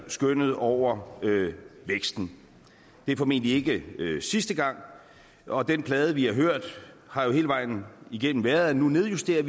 skønnet over væksten det er formentlig ikke sidste gang og den plade vi har hørt har jo hele vejen igennem været at nu nedjusterer